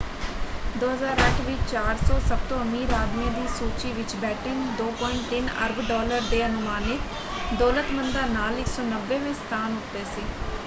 2008 ਵਿੱਚ 400 ਸਭਤੋਂ ਅਮੀਰ ਆਦਮੀਆਂ ਦੀ ਸੂਚੀ ਵਿੱਚ ਬੈਟਨ 2.3 ਅਰਬ ਡਾਲਰ ਦੇ ਅਨੁਮਾਨਿਤ ਦੌਲਤਮੰਦਾਂ ਨਾਲ 190ਵੇਂ ਸਥਾਨ ਉੱਤੇ ਸੀ।